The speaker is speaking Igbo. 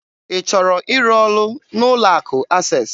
Ị chọrọ ịrụ ọrụ n'ụlọ akụ Access?